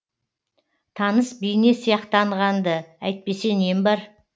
таныс бейне сияқтанған ды әйтпесе нем бар